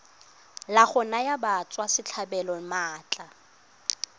la go naya batswasetlhabelo maatla